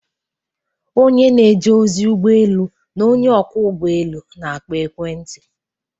onye na-eje ozi ụgbọ elu na onye ọkwọ ụgbọ elu na-akpọ ekwentị